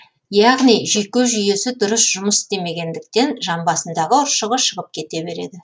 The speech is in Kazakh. яғни жүйке жүйесі дұрыс жұмыс істемегендіктен жамбасындағы ұршығы шығып кете береді